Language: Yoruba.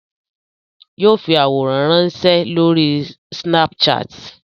Yóò fi àwòrán ránsẹ́ lórí snapchat